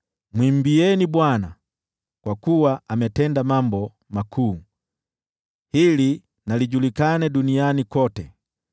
Mwimbieni Bwana , kwa kuwa ametenda mambo makuu, hili na lijulikane duniani kote.